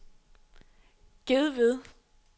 Gedved